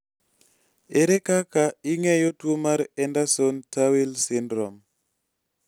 ere kaka ing'eyo tuo mar Andersen Tawil Syndrome